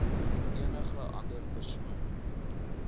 enige ander persoon